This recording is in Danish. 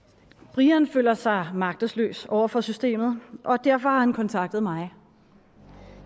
brian føler sig magtesløs over for systemet og derfor har han kontaktet mig